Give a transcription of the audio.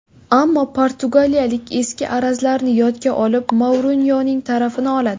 Ammo portugaliyalik eski arazlarni yodga olib, Mourinyoning tarafini oladi.